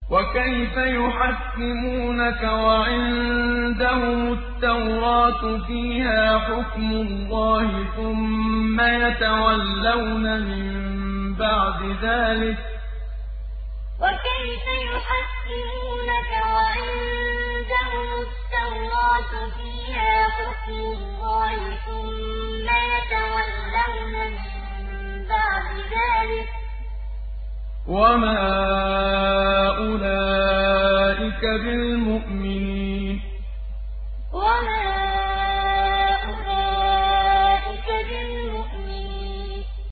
وَكَيْفَ يُحَكِّمُونَكَ وَعِندَهُمُ التَّوْرَاةُ فِيهَا حُكْمُ اللَّهِ ثُمَّ يَتَوَلَّوْنَ مِن بَعْدِ ذَٰلِكَ ۚ وَمَا أُولَٰئِكَ بِالْمُؤْمِنِينَ وَكَيْفَ يُحَكِّمُونَكَ وَعِندَهُمُ التَّوْرَاةُ فِيهَا حُكْمُ اللَّهِ ثُمَّ يَتَوَلَّوْنَ مِن بَعْدِ ذَٰلِكَ ۚ وَمَا أُولَٰئِكَ بِالْمُؤْمِنِينَ